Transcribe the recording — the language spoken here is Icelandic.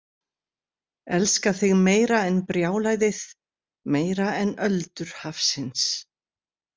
Elska þig meira en brjálæðið, meira en öldur hafsins.